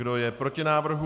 Kdo je proti návrhu?